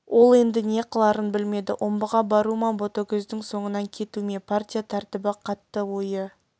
ол енді не қыларын білмеді омбыға бару ма ботагөздің соңынан кету ме партия тәртібі қатты ойы